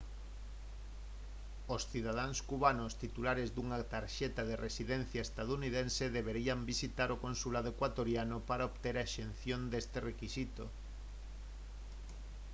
os cidadáns cubanos titulares dunha tarxeta de residencia estadounidense deberían visitar o consulado ecuatoriano para obter a exención deste requisito